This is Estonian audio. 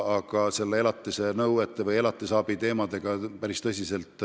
Aga elatisraha teemadega me tegeleme päris tõsiselt.